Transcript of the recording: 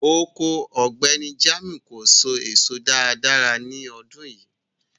Oko Ọgbẹ̀nì Jamiu kò sò èsò dáàdáa ni ọdún yìí.